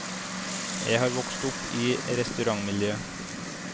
Jeg har vokst opp i restaurantmiljø.